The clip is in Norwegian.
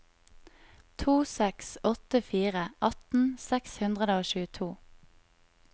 to seks åtte fire atten seks hundre og tjueto